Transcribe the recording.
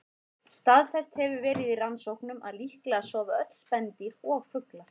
Staðfest hefur verið í rannsóknum að líklega sofa öll spendýr og fuglar.